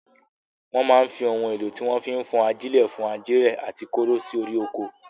Wọ́n máa ń fi ohun èlò tí wọ́n fi ń fọ́n ajílẹ̀ fọ́n ajílẹ̀ àti kóró sí orí oko.